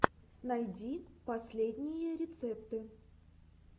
найди последние рецепты